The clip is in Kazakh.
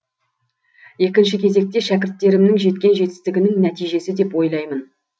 екінші кезекте шәкірттерімнің жеткен жетістігінің нәтижесі деп ойлаймын